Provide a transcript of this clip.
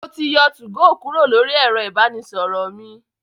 Mo ti yọ 2go Kúrò lóri ẹ̀rọ ìbánisọ̀rọ̀ mi.